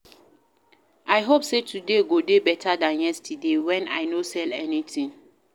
I hope sey today go dey beta dan yesterday wey I no sell anytin.